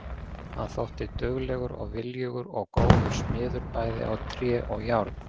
Hann þótti duglegur og viljugur og góður smiður bæði á tré og járn.